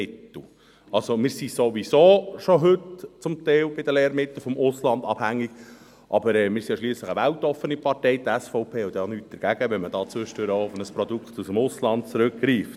Wir sind also bei den Lehrmitteln heute sowieso schon teilweise vom Ausland abhängig, aber wir sind ja schliesslich eine weltoffene Partei, … und die SVP hat auch nichts dagegen, wenn man ab und zu auf ein Produkt aus dem Ausland zurückgreift.